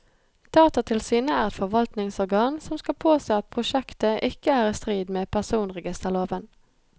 Datatilsynet er et forvaltningsorgan som skal påse at prosjektet ikke er i strid med personregisterloven.